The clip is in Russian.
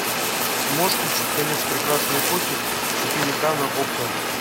можешь включить конец прекрасной эпохи четыре ка на окко